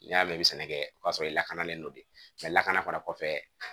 N'i y'a mɛn i bɛ sɛnɛ kɛ o y'a sɔrɔ i lakanalen don de lakana fana kɔfɛ